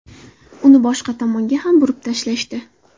Uni boshqa tomonga ham burib tashlashdi.